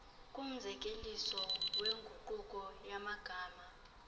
kumzekeliso wenguqulo yamagama